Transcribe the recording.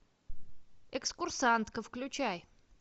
экскурсантка включай